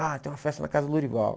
Ah, tem uma festa na casa do Lourival.